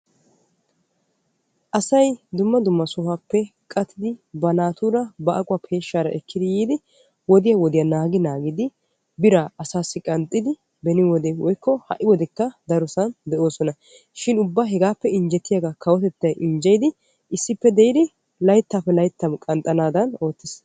Asay dumma dumma sohuwaappe baqattidi ba naatura ba aquwaa peeshshaara ekkidi yiidi woodiyaa naagi naagidi biraa asaassi qanxxidi beni wode woykko ha'i wodekka darosan de'oosona. shin ubba hegaappe injjetiyaagaa kawoy injjeyidi layttaappe layttan qanxxanaadan oottiis.